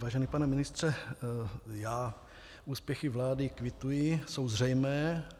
Vážený pane ministře, já úspěchy vlády kvituji, jsou zřejmé.